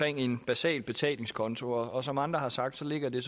en basal betalingskonto som andre har sagt ligger det